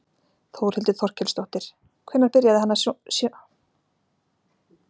Þórhildur Þorkelsdóttir: Hvenær byrjaði hann að svona sýna tölvum áhuga?